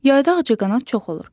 Yayda ağcaqanad çox olur.